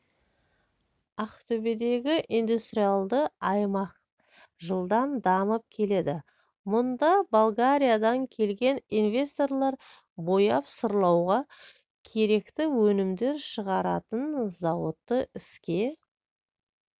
ақтөбедегі индустриалды аймақ жылдам дамып келеді мұнда болгариядан келген инвесторлар бояп-сырлауға керекті өнімдер шығаратын зауытты іске